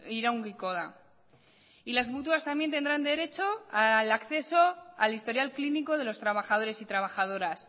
iraungiko da y las mutuas también tendrán derecho al acceso al historial clínico de los trabajadores y trabajadoras